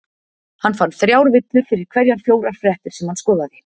Hann fann þrjár villur fyrir hverjar fjórar fréttir sem hann skoðaði.